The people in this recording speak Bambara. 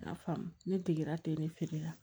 N y'a faamu ne degera te ne feere la